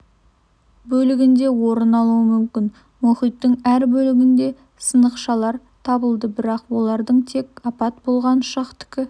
бөлігінде орын алуы мүмкін мұхиттың әр бөлігінде сынықшалар табылды бірақ олардың тек апат болған ұшақтікі